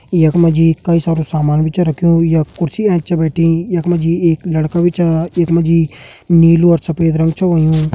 यख मा जी कई सारू सामान भी छ रख्युं यख मा जी कुर्सी ऐंच छ रखीं यख मा जी एक लड़का भी छ यख मा जी नीलू और सफेद रंग भी हुयों।